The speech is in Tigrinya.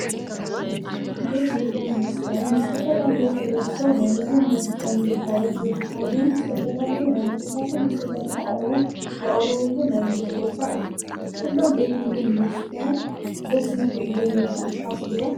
ቤት ምግብን መስተን፡- ንዝተፈላለዩ ሕብረተሰብ ናይ ምግብን መስተን ግልጋሎት ዝህቡ ኮይኖም ዝተፈላለዩ ናይ ምግብታትን መስተታትን ኣቕርቦት ዘቕርብሉ ናይ ንግዲ ቦታ እዩ፡፡ ኩሎም ቤት ምግብን መስተን ደስ ይብሉ እዮም ኢልኩም ትሓስቡ ዶ?